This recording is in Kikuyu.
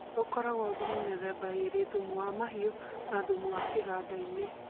Gũkoragwo thumu mĩthemba ĩrĩ thumu wa mahiũ na thumu wa kĩgandainĩ